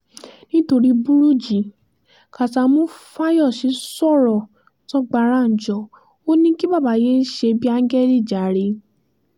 nítorí burújí kásámù fáyọsé sọ̀rọ̀ sọgbàránjọ ò ní kí bàbá yéé ṣe bíi áńgẹ́lì jàre